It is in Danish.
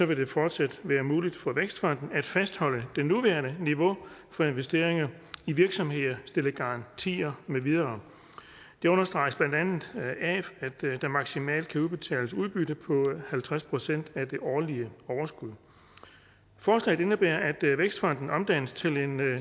vil det fortsat være muligt for vækstfonden at fastholde det nuværende niveau for investeringer i virksomheder stille garantier med videre det understreges blandt andet af at der maksimalt kan udbetales udbytte på halvtreds procent af det årlige overskud forslaget indebærer at vækstfonden omdannes til en